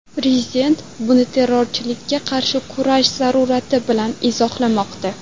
Prezident buni terrorchilikka qarshi kurash zarurati bilan izohlamoqda.